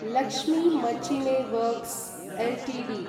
Lakshmi machine works Ltd